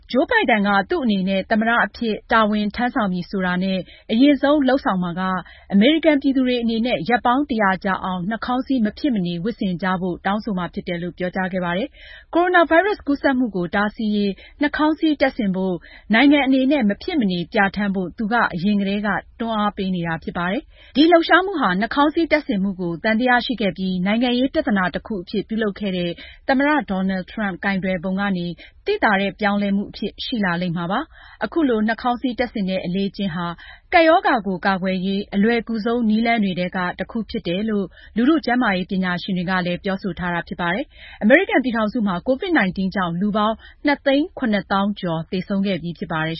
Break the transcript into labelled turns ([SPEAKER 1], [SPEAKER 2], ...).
[SPEAKER 1] ဂျိုးဘိုင်ဒန်က သူ့အနေနဲ့ သမ္မတအဖြစ် တာဝန်ထမ်းဆောင်ပြီးဆိုတာနဲ့ အရင်ဆုံးလုပ်မှာက အမေရိကန်ပြည်သူတွေအနေနဲ့ ရက်ပေါင်း ၁၀၀ ကြာအောင် နှာခေါင်းစည်း မဖြစ်မနေ ဝတ်ဆင်ကြဖို့ကို တောင်းဆိုမှာဖြစ်တယ်လို့ ကြာသပတေးနေ့က ပြောကြားခဲ့ပါတယ်။ ကိုရိုနာဗိုင်းရပ်စ်ကူးစက်မှုကို တားဆီးရေး နှာခေါင်းစည်းတပ်ဆင်ဖို့ နိုင်ငံအနေနဲ့ မဖြစ်မနေ ပြဌာန်းဖို့ သူက အရင်ကတည်းက တွန်းအားပေးနေတာဖြစ်ပါတယ်။ ဒီလှုပ်ရှားမှုဟာ နှာခေါင်းစည်တပ်ဆင်မှုကို သံသယရှိခဲ့ပြီး နိုင်ငံရေးပြသနာတခုအဖြစ်ပြုလုပ်ခဲ့တဲ့ သမ္မတ Donald Trump ကိုင်တွယ်ပုံကနေ သိသာတဲ့ ပြောင်းလဲမှုအဖြစ် ရှိလာမှာပါ။ အခုလို နှာခေါင်းစည်းတပ်ဆင်တဲ့ အလေ့အကျင့်ဟာ ကပ်ရောဂါကို ကာကွယ်ရေး အလွယ်ကူဆုံးနည်းလမ်းတွေထဲက တခုဖြစ်တယ်လို့ လူထု ကျန်းမာရေးပညာရှင်တွေကလည်း ပြောဆိုထားတာဖြစ်ပါတယ်။ အမေရိကန်ပြည်ထောင်စုမှာ COVID-19 ကြောင့် လူပေါင်း ၂၇၅,၀
[SPEAKER 2] ၀၀ သေဆုံးခဲ့ပြီးဖြစ်ပါတယ်